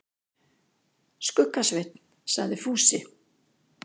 Skugga-Svein, sagði Fúsi.